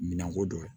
Minan ko dɔ ye